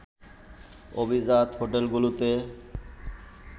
অভিজাত হোটেলগুলোতে